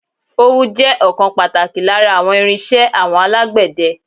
Ówú jẹ́ ọ̀kan pàtàkì lára àwọn irín-iṣẹ́ àwọn alágbẹ̀dẹ.